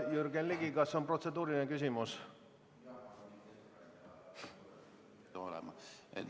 Jürgen Ligi, kas on protseduuriline küsimus?